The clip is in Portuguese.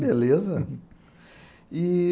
Beleza. E...